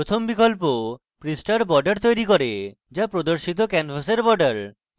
প্রথম বিকল্প পৃষ্ঠার border তৈরী করে the প্রদর্শিত ক্যানভাসের border